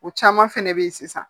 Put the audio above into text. O caman fɛnɛ bɛ ye sisan